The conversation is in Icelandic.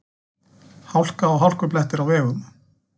Hálka og hálkublettir á vegum